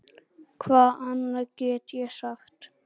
Hvað annað get ég sagt?